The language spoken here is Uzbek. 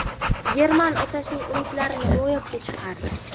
German otasining umidlarini ro‘yobga chiqardi.